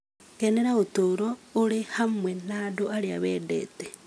Kenera ũtũũro ũrĩ hamwe na andũ arĩa wendete.